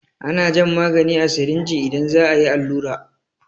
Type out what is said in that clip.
Ana jan magani a sirinji idan za a yi allura.